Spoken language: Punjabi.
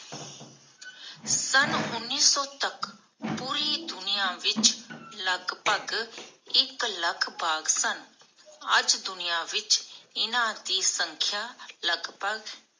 ਸਨ ਉਨੀਸ ਸੌ ਤਕ ਪੂਰੀ ਦੁਨੀਆਂ ਵਿਚ ਲਗਭਗ ਲੱਖ ਬਾਘ ਸਨ, ਅਜ ਦੁਨੀਆਂ ਵਿਚ ਇਨ੍ਹਾਂ ਦੀ ਸੰਖ੍ਯਾ ਲਗਭਗ